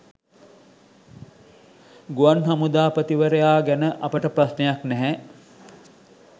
ගුවන් හමුදාපතිවරයා ගැන අපට ප්‍රශ්නයක් නැහැ.